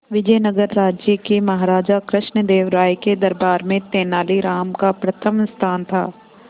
विजयनगर राज्य के महाराजा कृष्णदेव राय के दरबार में तेनालीराम का प्रथम स्थान था